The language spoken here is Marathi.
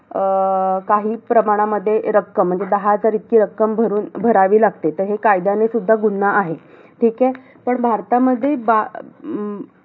अं काही प्रमाणामध्ये रक्कम, म्हणजे दहा हजार इतकी रक्कम भरून~ भरावी लागते. तर हे कायद्याने सुद्धा गुन्हा आहे. ठीके? पण भारतामध्ये बा~ अं